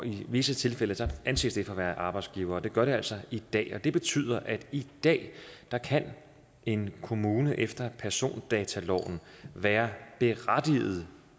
i visse tilfælde anses det for at være arbejdsgivere det gør det altså i dag og det betyder at i dag kan en kommune efter persondataloven være berettiget